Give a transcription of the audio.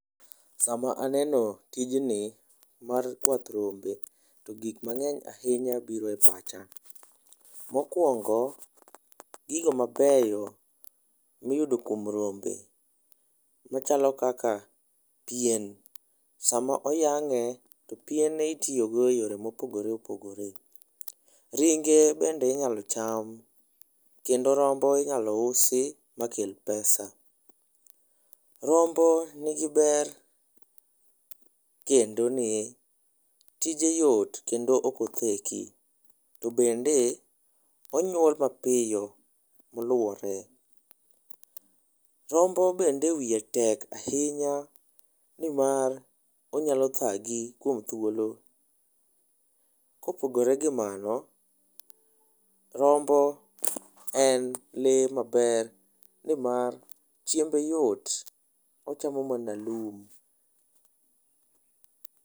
Sama aneno tijni mar kwath rombe to gik mang'eny ahinya bire pacha. Mokwongo gigo mabeyo miyudo kuom rombe machalo kaka pien. Sama oyang'e to piene itiyo go e yore mopogore opogore ,ringe bende inyalo cham kendo rombo inyalo usi makel pesa . Rombo nigi ber kendo ni tije yot kendo ok otheki to bende onyuol mapiyo maluwore. Rombo bende wiye tek ahinya nimar onyalo thagi kuom thuolo. Kopogore gi mano , rombo en lee maber nimar chiembe yot ochama mana lum